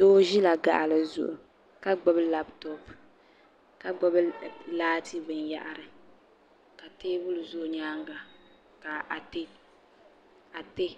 doo ʒila gaɣili zuɣu ka gbubi labitop ka gbubi laati binyɛhiri ka teebuli ʒi o nyaaga ka atiɛ